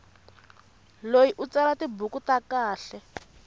loyi u tsala tibuku ta kahle